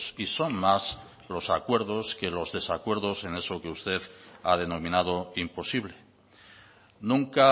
y son más los acuerdos que los desacuerdos en eso que usted ha denominado imposible nunca